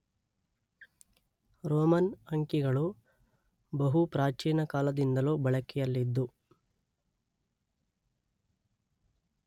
Roman ಅಂಕಿಗಳು ಬಹು ಪ್ರಾಚೀನ ಕಾಲದಿಂದಲೂ ಬಳಕೆಯಲ್ಲಿದ್ದು